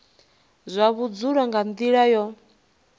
zwa vhudzulo nga nila yo